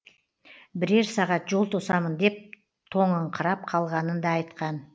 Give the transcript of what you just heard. бірер сағат жол тосамын деп тоңыңқырап қалғанын да айтқан